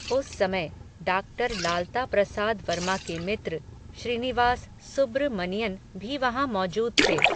उस समय, डाक्टर लालता प्रसाद वर्मा के मित्र, श्रीनिवास सुब्र मनियन भी वहाँ मौजूद थे